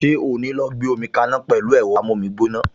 Ṣé o ò ní lọ gbómi kaná pẹ̀lú ẹ̀rọ amómígbóná!